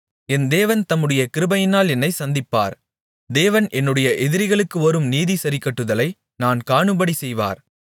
என் தேவன் தம்முடைய கிருபையினால் என்னைச் சந்திப்பார் தேவன் என்னுடைய எதிரிகளுக்கு வரும் நீதிசரிக்கட்டுதலை நான் காணும்படி செய்வார்